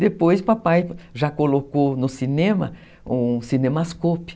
Depois papai já colocou no cinema um cinemascope.